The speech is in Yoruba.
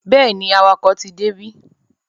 Bẹ́ẹ̀ni, awakọ̀ ti débí.